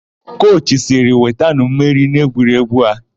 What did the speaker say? Kochi sịrị, "wetanụ mmeri n'egwuregwu a"!